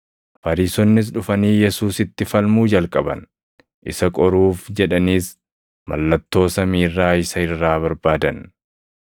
Fariisonnis dhufanii Yesuusitti falmuu jalqaban; isa qoruuf jedhaniis mallattoo samii irraa isa irraa barbaadan.